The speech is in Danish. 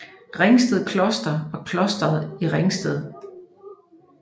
Ringsted Kloster var et kloster i Ringsted